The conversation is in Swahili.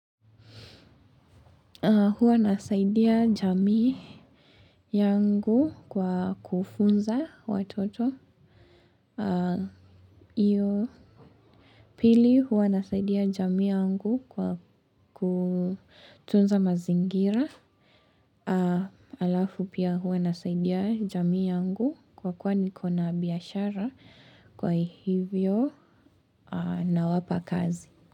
Huwa nasaidia jamii yangu kwa kufunza watoto. Iyo pili huwa nasaidia jamii yangu kwa kutunza mazingira. Alafu pia huwa nasaidia jamii yangu kwa kuwa nikona biashara kwa hivyo nawapa kazi.